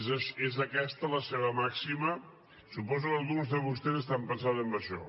és aquesta la seva màxima suposo que alguns de vostès estan pensant en això